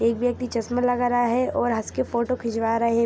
एक आदमी चशमा लगा रहा है और हस के फोटो खिचवा रहे ।